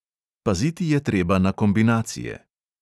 Paziti je treba na kombinacije.